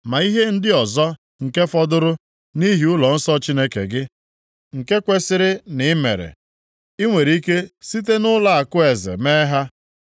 Ma ihe ndị ọzọ nke fọdụrụ nʼihi ụlọnsọ Chineke gị, nke kwesiri na i mere, ị nwere ike site nʼụlọakụ eze mee ha.